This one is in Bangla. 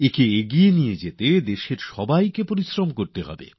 একে এগিয়ে নিয়ে যাওয়ার জন্য আমাদের সম্মিলিতভাবে পরিশ্রম করতে হবে